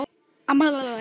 Amma var dásemd.